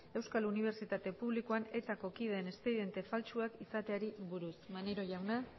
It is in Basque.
euskal unibertsitate publikoan etako kideen espediente faltsuak izateari buruz maneiro jauna